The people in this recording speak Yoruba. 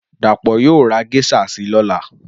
Dapo Yóò ra geisha si lọ́la